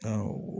Awɔ